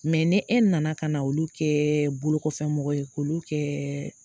ni e nana ka na olu kɛ bolokɔfɛn mɔgɔ ye k'olu kɛ